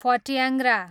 फट्याङ्ग्रा